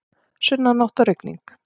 Sunnanátt og rigning